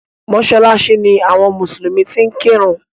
Mọ́ṣáláṣí ni àwọn mùsùlùmí ti ń kẹ́run.